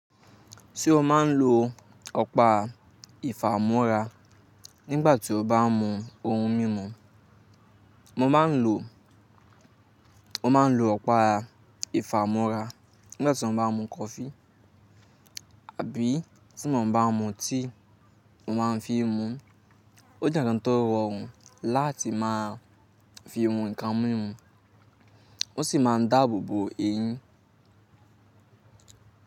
Se o má ń lo ọ̀pá ìfà múra nígbà tí o bá ń mu oun mímu, mo má ń lo, mo má ń lo ọ̀pá ìfà múra nígbà tí mo bá ń mu kọfí àbí tí mo bá ń mu tíì mo má ń fi mu. Ó jẹ́ nǹkan tó rọrùn láti máa fi mu nǹkan mímu ó sì má ń dáàbò bo eyín.